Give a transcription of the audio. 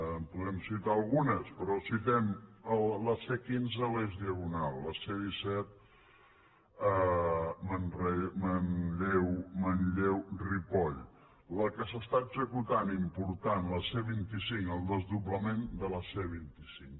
en podem citar algunes però citem la c quinze a l’eix diagonal la c disset a manlleu ripoll la que s’està executant important la c vint cinc el desdoblament de la c vint cinc